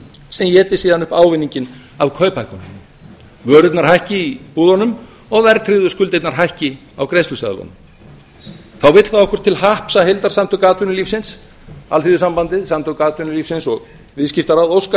sem éti síðan upp ávinninginn af kauphækkunum vörurnar hækki í búðunum og verðtryggðu skuldirnar hækki á greiðsluseðlunum þá vill það okkur til happs að heildarsamtök atvinnulífsins alþýðusambandið samtök atvinnulífsins og viðskiptaráð óska